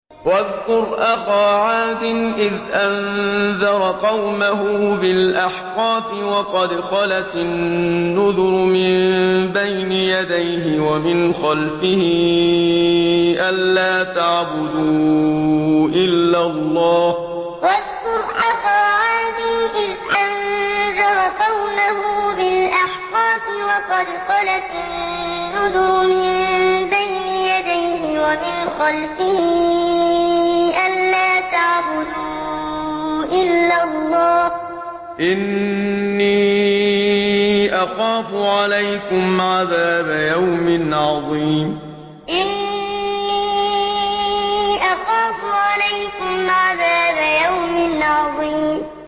۞ وَاذْكُرْ أَخَا عَادٍ إِذْ أَنذَرَ قَوْمَهُ بِالْأَحْقَافِ وَقَدْ خَلَتِ النُّذُرُ مِن بَيْنِ يَدَيْهِ وَمِنْ خَلْفِهِ أَلَّا تَعْبُدُوا إِلَّا اللَّهَ إِنِّي أَخَافُ عَلَيْكُمْ عَذَابَ يَوْمٍ عَظِيمٍ ۞ وَاذْكُرْ أَخَا عَادٍ إِذْ أَنذَرَ قَوْمَهُ بِالْأَحْقَافِ وَقَدْ خَلَتِ النُّذُرُ مِن بَيْنِ يَدَيْهِ وَمِنْ خَلْفِهِ أَلَّا تَعْبُدُوا إِلَّا اللَّهَ إِنِّي أَخَافُ عَلَيْكُمْ عَذَابَ يَوْمٍ عَظِيمٍ